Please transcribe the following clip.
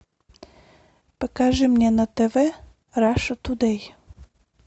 покажи мне на тв раша тудей